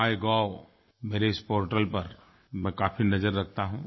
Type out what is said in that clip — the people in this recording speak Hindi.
माइगोव मेरे इस पोर्टल पर मैं काफी नज़र रखता हूँ